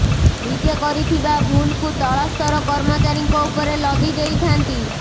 ନିଜେ କରିଥିବା ଭୁଲକୁ ତଳ ସ୍ତର କର୍ମଚାରୀଙ୍କ ଉପରେ ଲଦି ଦେଇଥାନ୍ତି